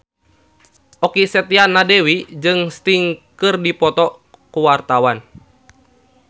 Okky Setiana Dewi jeung Sting keur dipoto ku wartawan